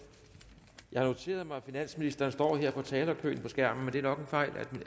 jeg har noteret mig at finansministeren står i talerkøen på skærmen men det er nok en fejl